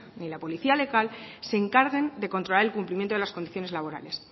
ni la policía local se encarguen de controlar el cumplimiento de las condiciones laborales